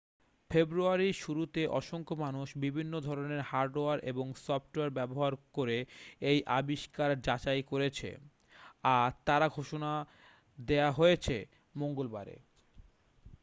ফেব্রুয়ারির শুরুতে অসংখ্য মানুষ বিভিন্ন ধরণের হার্ডওয়্যার এবং সফটওয়্যার ব্যবহার করে এই আবিষ্কার যাচাই করেছে আর তার ঘোষণা দেয়া হয়েছে মংগলবারে